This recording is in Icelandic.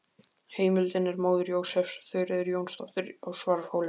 Heimildin er móðir Jósefs, Þuríður Jónsdóttir á Svarfhóli.